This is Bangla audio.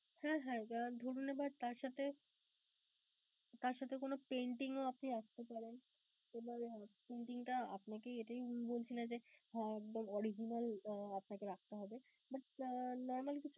হ্যাঁ হ্যাঁ যারা তার সাথে তার সাথে কোন painting ও আপনি রাখতে পারেন. painting টা আপনাকে এইটাই বলছি না যে, হ্যাঁ একবারে original আপনাকে রাখতে হবে but normally কিছু